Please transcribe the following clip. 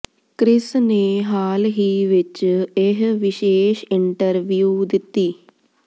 Chris ਨੇ ਹਾਲ ਹੀ ਵਿਚ ਇਹ ਵਿਸ਼ੇਸ਼ ਇੰਟਰਵਿਊ ਦਿੱਤੀ